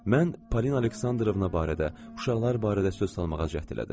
Mən Polina Aleksandrovna barədə, uşaqlar barədə söz salmağa cəhd elədim.